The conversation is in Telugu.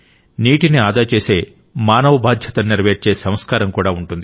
నీటిని ఆదా చేసే మానవ బాధ్యతను నెరవేర్చే సంస్కారం కూడా ఉంటుంది